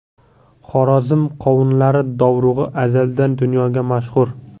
Xorazm qovunlari dovrug‘i azaldan dunyoga mashhur.